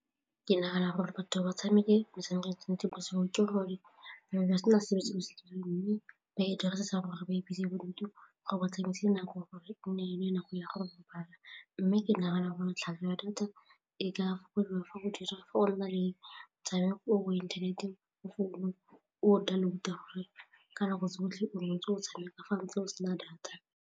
Ke nagana gore batho ba tshameke metshameko bosigo ke gore ba ba sena sepe se ba se mme ba e dirisa gore ba e bese bodutu gore ba tsamaise nako gore e ne nako ya go robala mme ke nagana gore wa data e ka fokodiwa fa o na le mo inthaneteng o founu o download-a gore ka nako tsotlhe o nne o ntse o tshameka fa ntse o sena data.